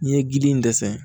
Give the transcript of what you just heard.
N'i ye gili in dɛsɛ